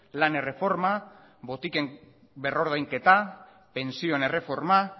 lan erreforma botiken berrordainketa pentsioen erreforma